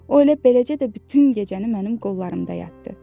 O elə beləcə də bütün gecəni mənim qollarımda yatdı.